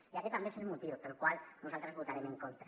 i aquest també és el motiu pel qual nosaltres votarem en contra